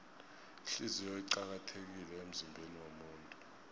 ihliziyo iqakathekile emzimbeniwomuntu